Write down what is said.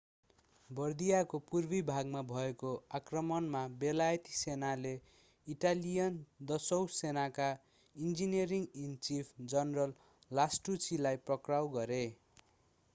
बर्दियको पूर्वी भागमा भएको आक्रमणमा बेलायती सेनाले ईटालियन दसौं सेनाका ईन्जिनियर-इन-चीफ जनरल लास्टुचीलाई पक्राउ गरें